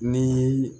Ni